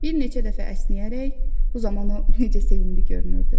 Bir neçə dəfə əsnəyərək, bu zaman o necə sevimli görünürdü!